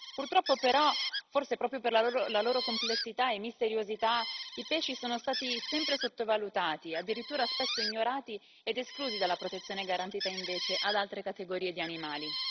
Purtroppo però, forse proprio per la loro complessità e misteriosità, i pesci sono stati sempre sottovalutati, addirittura spesso ignorati ed esclusi dalla protezione garantita invece ad altre categorie di animali.